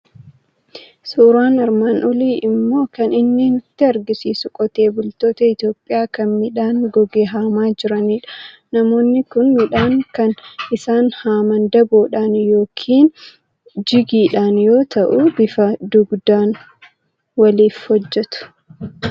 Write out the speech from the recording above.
Suuraan armaan oliii immoo kan inni nutti argisiisu qotee bultoota Itoophiyaa, kana midhaan goge haamaa jiranidha. Namoonni kun midhaan kan isaan haaman daboodhaan yookiin jigiidhaan yoo ta'u, bifa dugdaan waliif hojjetu.